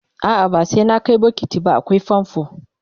a'a ba sai na Kai bokiti ba akwai famfo